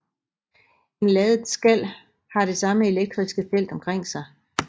En ladet skal har det samme elektriske felt omkring sig